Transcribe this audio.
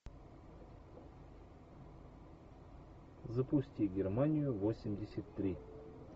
запусти германию восемьдесят три